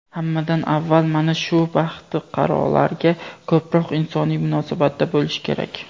Hammadan avval mana shu "baxtiqarolar"ga ko‘proq insoniy munosabatda bo‘lish kerak.